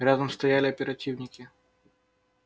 рядом стояли оперативники